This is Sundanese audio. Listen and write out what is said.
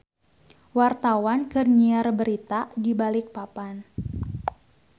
Wartawan keur nyiar berita di Balikpapan